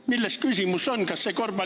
Milles on küsimus?